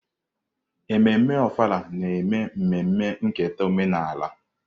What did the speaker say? Ememme Ofala na-eme mmemme nketa omenala.